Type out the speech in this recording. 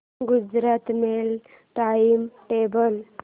Gujarat mail time table